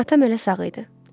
Atam hələ sağ idi.